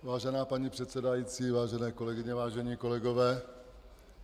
Vážená paní předsedající, vážené kolegyně, vážení kolegové.